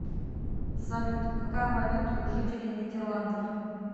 салют какая валюта у жителей нидерландов